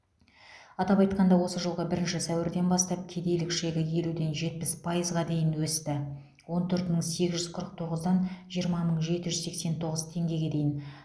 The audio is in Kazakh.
атап айтқанда осы жылғы бірінші сәуірден бастап кедейлік шегі елуден жетпіс пайызға дейін өсті он төрт мың сегіз жүз қырық тоғыздан жиырма мың жеті жүз сексен тоғыз теңгеге дейін